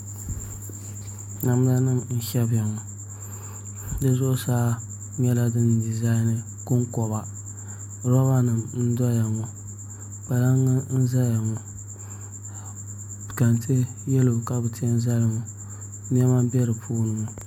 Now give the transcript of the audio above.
Namda nim n shɛbiya ŋɔ di zuɣusaa nyɛla din dizaini konkoba roba nim n doya ŋɔ kpalaŋ n ʒɛya ŋɔ kɛntɛ yɛlo ka bi tiɛ n zali ŋɔ niɛma n bɛ di puuni ŋɔ